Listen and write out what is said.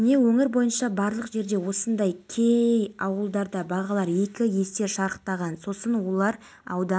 қамтамасыз ету мәселесіне келгенде қазақстан мен қырғызстан жайында айтыла бастады деді әбдірахманов еуразиялық медиа форумның